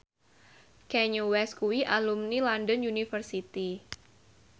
Kanye West kuwi alumni London University